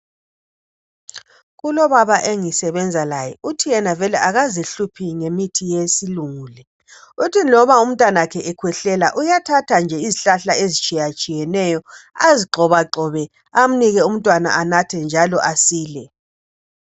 Kulobaba engisebenza laye, uthi yena vele akazihluphi ngemithi yesilungu le. Uthi loba umntanakhe ekhwehlela uyathatha nje izihlahla ezitshiyatshiyeneyo azigxobagxobe amnike umntwana anathe njalo asile.